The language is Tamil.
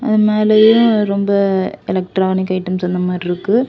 இது மேலயும் ரொம்ப எலக்ட்ரானிக் ஐட்டம்ஸ் அந்த மாரி இருக்கு.